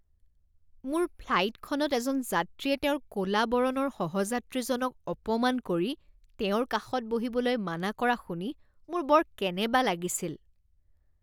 মোৰ ফ্লাইটখনত এজন যাত্ৰীয়ে তেওঁৰ ক'লা বৰণৰ সহযাত্ৰীজনক অপমান কৰি তেওঁৰ কাষত বহিবলৈ মানা কৰা শুনি মোৰ বৰ কেনেবা লাগিছিল।